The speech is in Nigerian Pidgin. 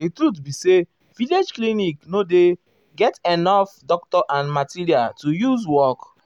di truth be say village clinic nor dey get enough doctor and material to use work. work.